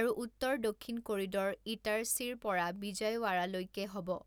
আৰু উত্তৰ দক্ষিণ কৰিডৰ ইটাৰছীৰ পৰা বিজয়ৱাড়ালৈকে হ’ব ।